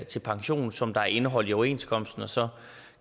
til pension som der er indeholdt i overenskomsten og så